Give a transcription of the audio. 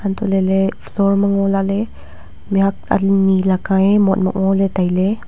antoley ley floor ma ngo lahley mihhuak ani laka ye mot mok ngoley tailey.